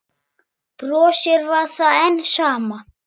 Brosið var enn það sama.